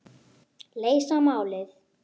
Þau verða hluti af hópnum.